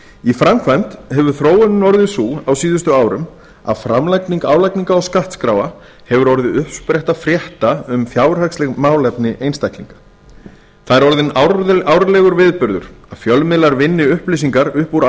í framkvæmd hefur þróunin orðið sú á síðustu árum að framlagning álagningar og skattskránna hefur orðið uppspretta frétta um fjárhagsleg málefni einstaklinga það er orðinn árlegur viðburður að fjölmiðlar vinni upplýsingar upp úr